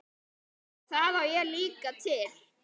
Það á ég líka til.